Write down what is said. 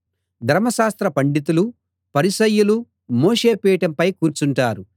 ధర్మశాస్త్ర పండితులు పరిసయ్యులు మోషే పీఠంపై కూర్చుంటారు